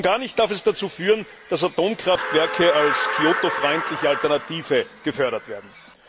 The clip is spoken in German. Und schon gar nicht darf es dazu führen, dass Atomkraftwerke als Kyoto freundliche Alternative gefördert werden.